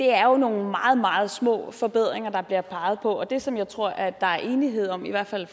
er jo nogle meget meget små forbedringer der bliver peget på og det som jeg tror at der er enighed om i hvert fald